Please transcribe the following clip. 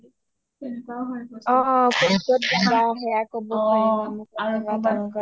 অ অ ক’ত ক’ত যাবা ক’ব পাৰিম এনেকুৱা তেনেকুৱাত যাবা